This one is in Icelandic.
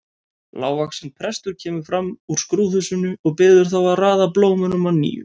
Lágvaxinn prestur kemur fram úr skrúðhúsinu og biður þá að raða blómunum að nýju.